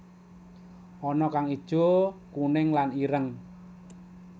Ana kang ijo kuning lan ireng